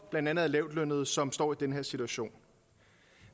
blandt andet lavtlønnede som står i den her situation